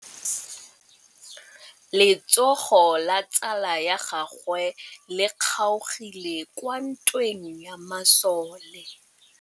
Letsôgô la tsala ya gagwe le kgaogile kwa ntweng ya masole.